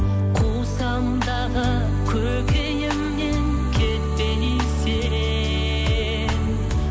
кусам дағы көкейімнен кетпей сен